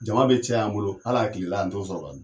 Jama bɛ caya an bolo hali a kile la an t'o sɔrɔ ka dun.